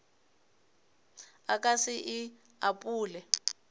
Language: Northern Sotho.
a ka se e apole